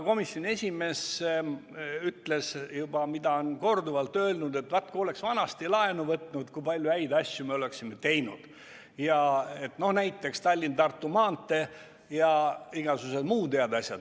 Komisjoni esimees ütles seda, mida on korduvalt öeldud, et vaat kui oleks vanasti laenu võtnud, kui palju häid asju me oleksime siis teinud, näiteks Tallinna–Tartu maantee ja igasugused muud head asjad.